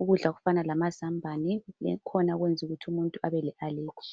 Ukudla okufana lamazambane akhona akwenza ukuthi umuntu abe le aleji.